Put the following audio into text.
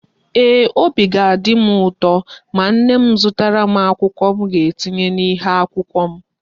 Eeh, Obi ga-adim uto ma nna m zụtara m akwụkwọ m ga etinye na ihe akwụkwọ m